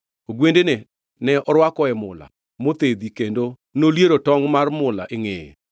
ogwendene to norwakoe mula mothedhi, kendo noliero tongʼ mar mula e ngʼeye.